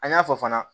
An y'a fɔ fana